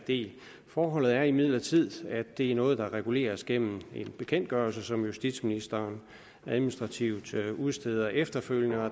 del forholdet er imidlertid at det er noget der reguleres gennem en bekendtgørelse som justitsministeren administrativt udsteder efterfølgende og